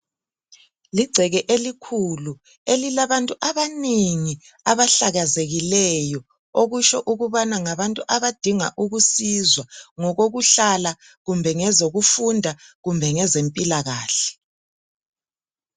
Ligceke elikhulu. Elilabantu abanengi! Abahlakazekileyo. Okutsho ukuthi ngabantu abadinga ukusizwa,. Ngezokuhlala, ngezokufundam kumbe ngezempilakahle.